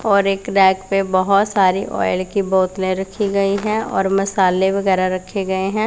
और एक रैक पे बहुत सारी ऑयल की बोतले रखी गई है और मसाले वगैरा रखे गए हैं।